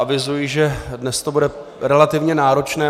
Avizuji, že dnes to bude relativně náročné.